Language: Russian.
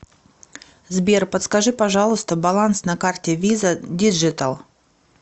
сбер подскажи пожалуйста баланс на карте виза диджитал